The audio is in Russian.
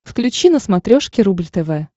включи на смотрешке рубль тв